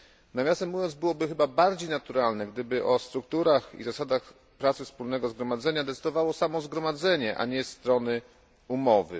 Nawiasem mówiąc, byłoby chyba bardziej naturalne, gdyby o strukturach i zasadach pracy Wspólnego Zgromadzenia decydowało samo Zgromadzenie, a nie strony umowy.